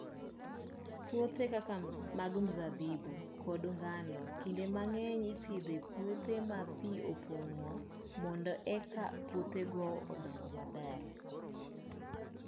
Puothe kaka mag mzabibu, kod mag ngano, kinde mang'eny ipidho e puothe ma pi opong'o mondo eka puothego odong maber.